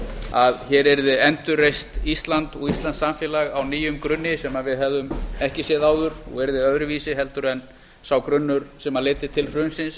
að hér yrði endurreist ísland og íslenskt samfélag á nýjum grunni sem við hefðum ekki séð áður og yrði öðruvísi en sá grunnur sem leiddi til hrunsins